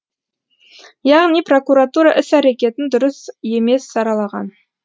яғни прокуратура іс әрекетін дұрыс емес саралаған